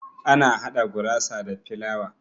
Ana hada gurasa da filawa.